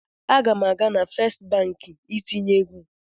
Aga m aga na Fest Banki itinye ego.